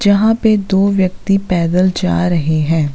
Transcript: जहाँ पे दो व्यक्ति पैदल जा रहें हैं।